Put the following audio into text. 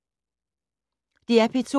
DR P2